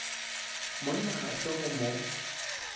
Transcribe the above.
monna ga se go mo